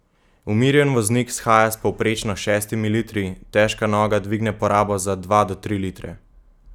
Umirjen voznik shaja s povprečnimi šestimi litri, težka noga dvigne porabo za dva do tri litre.